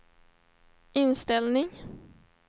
inställning